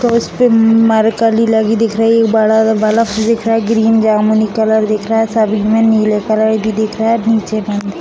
तो उस पे मरकरी लगी दिख रही है बड़ा सा बल्ब दिख रहा है ग्रीन जामुनी कलर दिख रहा है सब में नीले कलर भी दिख रहा है नीचे --